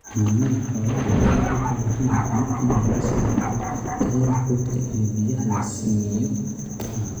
Xanaanada xoolaha waxay u baahan yihiin inay la socdaan tayada quudka iyo biyaha la siiyo xoolaha.